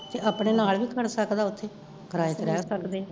ਆਪਣੇ ਨਾਲ ਨੀ ਛੱਡ ਸਕਦਾ ਓਥੇ, ਕਿਰਾਏ ਤੇ ਰਹਿ ਸਕਦੇ ਨੇ